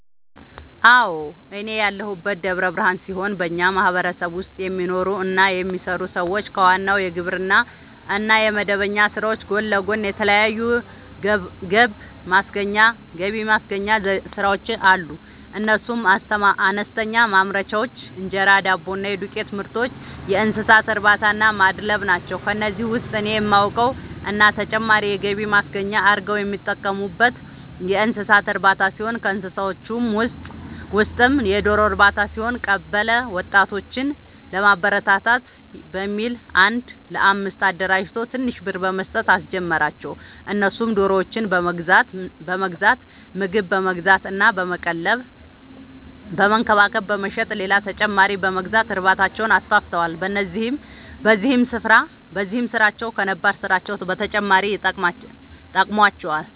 አዎ፤ እኔ ያለሁት ደብረ ብርሃን ሲሆን በኛ ማህበረሰብ ውስጥ የሚኖሩ እና የሚሰሩ ሰዎች ከዋናው የግብርና እና የመደበኛ ስራዎች ጎን ለጎን የተለያዩ ገብማስገኛ ስራዎች አሉ፤ እነሱም፦ አነስተኛ ማምረቻዎች(እንጀራ፣ ዳቦ እና የዱቄትምርቶች)፣የእንሰሳትእርባታናማድለብ ናቸው። ከነዚህ ውስጥ እኔ የማውቀው እና ተጨማሪ የገቢ ማስገኛ አርገው የሚጠቀሙበት የእንሰሳት እርባታ ሲሆን ከእንስሳዎቹ ውስጥም የዶሮ ርባታ ሲሆን፤ ቀበለ ወጣቶችን ለማበረታታት በሚል አንድ ለአምስት አደራጅቶ ትንሽ ብር በመስጠት አስጀመራቸው እነሱም ዶሮዎችን በመግዛት ምግብ በመግዛት እና በመቀለብ በመንከባከብ በመሸጥ ሌላ ተጨማሪ በመግዛት እርባታቸውን አስፋፍተዋል። በዚህም ስራቸው ከነባር ስራቸው በተጨማሪ ጠቅሞዋቸዋል።